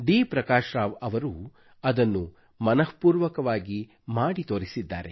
ಪ್ರಕಾಶ್ ರಾವ್ ರವರು ಅದನ್ನು ಮನಃಪೂರ್ವಕವಾಗಿ ಮಾಡಿ ತೋರಿಸಿದ್ದಾರೆ